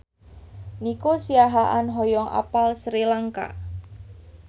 Nico Siahaan hoyong apal Sri Lanka